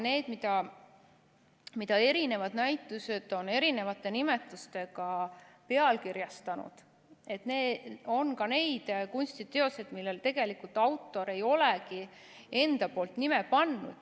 Nende hulgas, mida eri näitused on erinevate nimetustega pealkirjastanud, on ka neid kunstiteoseid, millele tegelikult autor ise ei olegi nime pannud.